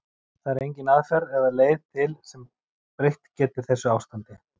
Það er engin aðferð eða leið til sem breytt geti þessu ástandi.